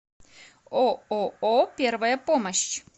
ооо первая помощь